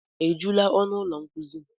Ejula ọnụ ụlọ nkuzi?